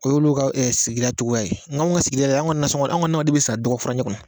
O y'olu ka sigida cogo ye, n k'anw ka sigida la y'an, anw ka na sɔngɔn, anw ka nanw de bɛ san dɔgɔ furancɛ kɔnɔ.